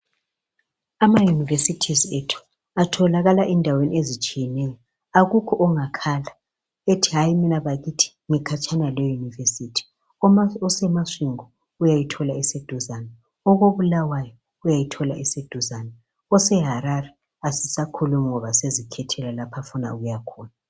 Ama universities ethu atholakala endaweni ezitshiyeneyo. Akukho ongakhala ethi hayi mina bakithi ngikhatshana le university. Uma useMasvingo uyayithola eseduzane, okoBulawayo uyayithola eseduzane, oseHarare asisakhulumi ngoba sezikhethela lapho afuna ukuya khona.